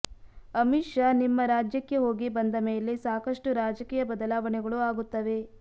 ಅಮಿತ್ ಶಾ ನಿಮ್ಮ ರಾಜ್ಯಕ್ಕೆ ಹೋಗಿ ಬಂದಮೇಲೆ ಸಾಕಷ್ಟು ರಾಜಕೀಯ ಬದಲಾವಣೆಗಳು ಆಗುತ್ತವೆ